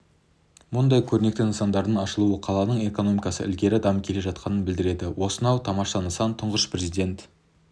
мұндай көрнекті нысандардың ашылуы қаланың экономикасы ілгері дамып келе жатқанын білдіреді осынау тамаша нысан тұңғыш президент